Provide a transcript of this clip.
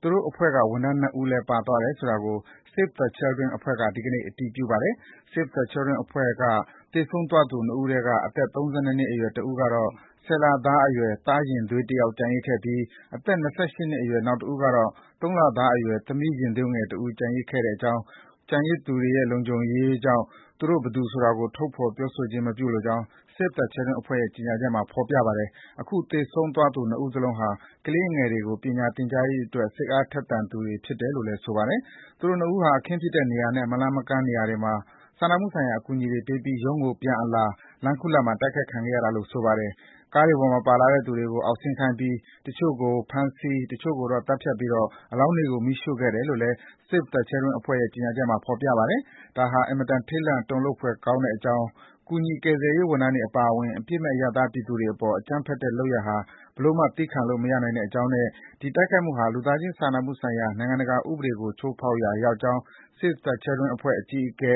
သူတို့ဝန်ထမ်း ၂ ဦးလည်း ပါသွားတယ်ဆိုတာကို Save the Children အဖွဲ့က ဒီကနေ့ အတည်ပြုပါတယ်။ Save the Children အဖွဲ့က သေဆုံးသွားသူ ၂ ဦးထဲက အသက် ၃၂ နှစ်အရွယ်တဦးကတော့ ဆယ်လသားအရွယ် သားရင်သွေးတယောက် ကျန်ရစ်ခဲ့ပြီး အသက် ၂၈ နှစ်အရွယ် နောက်တဦးကတော့ ၃ လ အရွယ်သမီးရင်သွေးငယ်တဦး ကျန်ရစ်ခဲ့ကြောင်းနဲ့ ကျန်ရစ်သူတွေရဲ့ လုံခြုံရေးကြောင့် သူတို့ ဘယ်သူဆိုတာ ထုတ်ဖော်ပြောဆိုခြင်း မပြုလိုကြောင်း Save the Children အဖွဲ့ရဲ့ ကြေညာချက်မှာ ဖော်ပြထားပါတယ်။ အခု သေဆုံးသွားသူ ၂ ဦးစလုံးဟာ ကလေးငယ်တွေကို ပညာသင်ကြားရေးအတွက် စိတ်အားထက် သန်သူတွေ ဖြစ်တယ်လို့ ဆိုပါတယ်။ သူတို့ ၂ ဦးဟာ အခင်းဖြစ်တဲ့နေရာနဲ့ မလှမ်းမကမ်းနေရာမှာ စာနာမှုဆိုင်ရာ အကူအညီတွေပေးပြီး ရုံးကို ပြန်အလာ လမ်းခုလတ်မှာ တိုက်ခိုက်ခံခဲ့ရတာလို့ ဆိုပါတယ်။ ကားတွေပေါ်မှာပါလာတဲ့သူတွေကို အောက် ဆင်းခိုင်းပြီး တချို့ကိုဖမ်းဆီး၊ တချို့ကိုတော့ သတ်ဖြတ်ပြီး အလောင်းတွေကို မီးရှို့ခဲ့တယ်လို့လည်း Save the Children အဖွဲ့ရဲ့ ကြေညာချက်မှာ ဖော်ပြထားပါတယ်။ “ဒါဟာ အင်မတန် ထိတ်လန့်တုန်လှုပ်ဖွယ်ကောင်းကြောင်း၊ ကူညီ ကယ်ဆယ်ရေးဝန်ထမ်းတွေ အပါအဝင် အပြစ်မဲ့ အရပ်သားပြည်သူတွေအပေါ် အကြမ်းဖက်တဲ့လုပ်ရပ်ဟာ ဘယ်လိုမှ သည်းခံလို့မရနိုင်ကြောင်း၊ ဒီတိုက်ခိုက်မှုဟာ လူသားချင်းစာနာမှုဆိုင်ရာ နိုင်ငံတကာဥပဒေကို ချိုးဖောက်ရာရောက်ကြောင်း Save the Children အဖွဲ့အကြီးအကဲ